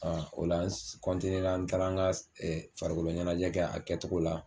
o la s ra n taara ŋa s farikolo ɲɛnajɛ kɛ a kɛtogo la